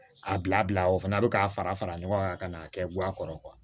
A bila bila o fana bɛ k'a fara fara ɲɔgɔn kan ka n'a kɛ guwa kɔrɔ